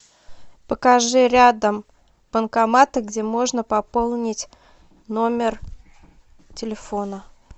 покажи рядом банкоматы где можно пополнить номер телефона